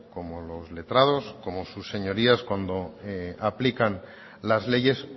como los letrados como sus señorías cuando aplican las leyes